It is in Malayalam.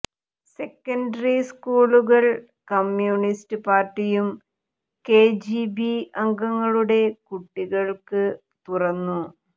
സെക്കൻഡറി സ്കൂളുകൾ കമ്യൂണിസ്റ്റ് പാർട്ടിയും കെജിബി അംഗങ്ങളുടെ കുട്ടികൾക്ക് തുറന്നു